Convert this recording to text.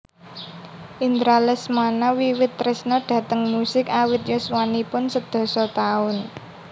Indra Lesmana wiwit tresna dhateng musik awit yuswaniun sedasa taun